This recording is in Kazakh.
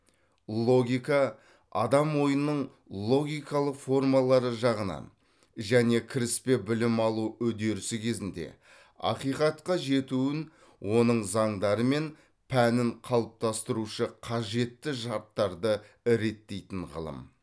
логика адам ойының логикалық формалары жағынан және кіріспе білім алу үдерісі кезінде ақиқатқа жетуін оның заңдары мен пәнін қалыптастырушы қажетті шарттарды реттейтін ғылым